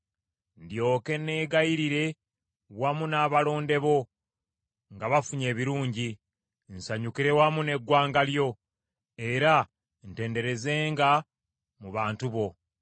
ndyoke neeyagalire wamu n’abalonde bo nga bafunye ebirungi, nsanyukire wamu n’eggwanga lyo, era ntendererezenga mu bantu bo.